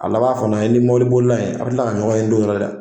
A laban fana, i ni mɔbili bolila in a be kila ka ɲɔgɔn ye don dɔ la dɛ!